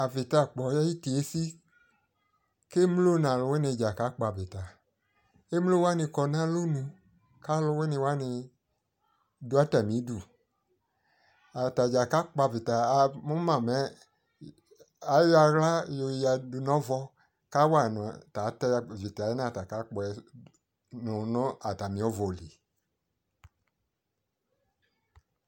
Avitakpɔ ayʋiti esi kʋ emlo nʋ alʋvini dza kakpɔ avita Emlowani kɔ nʋ alonʋ kʋ alʋwiniwani dʋ atami udu Atadza kakpɔ avita Amʋ ma mɛ ayɔ aɣla yoya dʋ nʋ ɔvɔ kʋ awa nʋ ta avita yɛ ata kakpɔ tɛnʋ nʋ atami ɔvɔ lι